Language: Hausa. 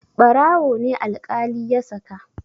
Ɓarawo ne alƙali ya saka.